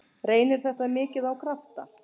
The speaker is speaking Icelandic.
Reynir þetta mikið á krafta?